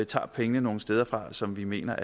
tager pengene nogle steder fra som vi mener